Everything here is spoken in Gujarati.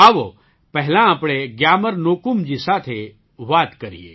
આવો પહેલા આપણે ગ્યામર ન્યોકુમજી સાથે વાત કરીએ